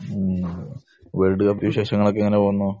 മ്മ്. World cup വിശേഷങ്ങൾ ഒക്കെ എങ്ങനെ പോകുന്നു?